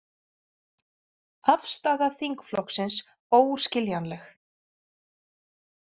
Afstaða þingflokksins óskiljanleg